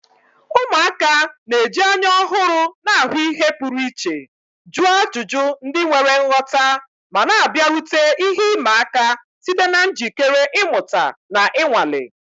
Ụmụaka na-eji anya ọhụrụ na-ahụ ihe pụrụ iche, jụọ ajụjụ ndị nwere nghọta, ma na-abịarute ihe ịma aka site na njikere ịmụta na ịnwale.